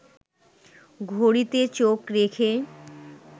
ঘড়িতে চোখ রেখে